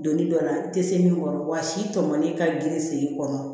Donni dɔ la i tɛ se min kɔrɔ wa si tɔmɔli ka girin sen i kɔnɔ